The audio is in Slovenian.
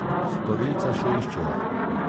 Storilca še iščejo.